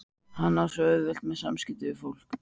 Hann á svo auðvelt með samskipti við fólk.